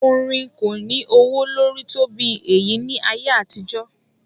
Orin kò ní ọwọ́ lórí tó bí èyí ní ayé àtijó.